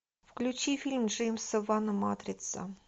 включи фильм джеймса ван матрица